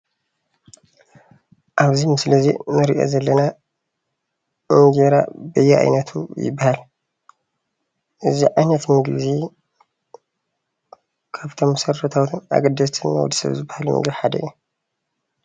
ኣብዚ ምስሊ እዚ እንሪኦ ዘለና እንጀራ በየኣይነቱ ይበሃል፡፡ እዚ ዓይነት ምግቢ እዚ ካብቶም መሰረታዊን ኣገደስቲን ንወዲሰብ ዝባሃሉ ምግቢ ሓደ እዩ፡፡